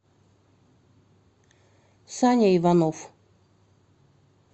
саня иванов